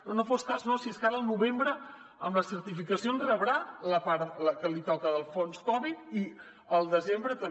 no no fos cas no si és que ara al novembre amb la certificació rebrà la part la que li toca del fons covid i al desembre també